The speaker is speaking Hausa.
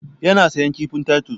Ya na sayan kifin taitos.